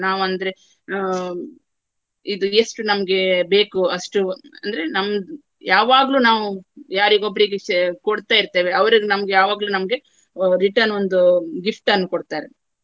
ನಾವು ಅಂದ್ರೆ ಆ ಇದು ಎಷ್ಟು ನಮ್ಗೆ ಬೇಕು ಅಷ್ಟು ಅಂದ್ರೆ ನಮ್ದ್~ ಯಾವಾಗ್ಲೂ ನಾವು ಯಾರಿಗೊಬ್ರಿಗೆ ಶೆ~ ಕೊಡ್ತಾ ಇರ್ತೇವೆ ಅವರನ್ನು ನಮ್ಗೆ ಯಾವಾಗ್ಲೂ ನಮ್ಗೆ return ಒಂದು gift ಅನ್ನು ಕೊಡ್ತಾರೆ.